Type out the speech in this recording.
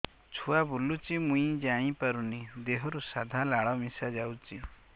ଛୁଆ ବୁଲୁଚି ମୁଇ ଜାଣିପାରୁନି ଦେହରୁ ସାଧା ଲାଳ ମିଶା ଯାଉଚି